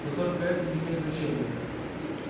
но только это не имеет значения